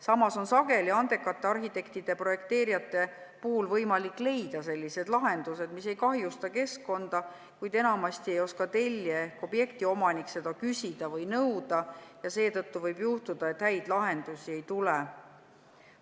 Samas on andekatel arhitektidel ja projekteerijatel sageli võimalik leida sellised lahendused, mis ei kahjusta keskkonda, kuid enamasti ei oska tellija ehk objekti omanik seda küsida või nõuda ja seetõttu võib juhtuda, et häid lahendusi ei tule.